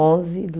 Onze do